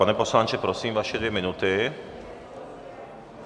Pane poslanče, prosím, vaše dvě minuty.